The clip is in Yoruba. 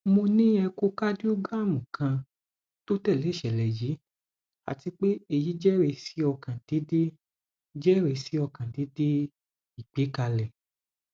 mo ni echocardiogram kan to tẹle iṣẹlẹ yii ati pe eyi jẹrisi ọkan deede jẹrisi ọkan deede igbekale